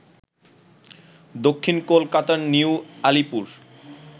দক্ষিণ কলকাতার নিউ আলিপুর